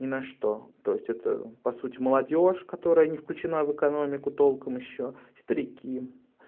ни на что то есть это по сути молодёжь которая не включена в экономику толком ещё старики